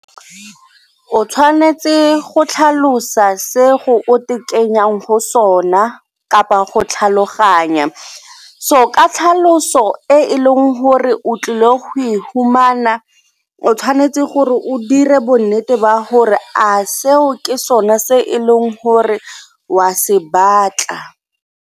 O tshwanetse go tlhalosa se go o kenyang go sona kapa go tlhaloganya so ka tlhaloso e e leng gore o tlile go e humana o tshwanetse gore o dire bo nnete ba gore a seo ke sone se e leng gore o a se batla.